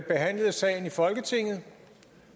folketingssalen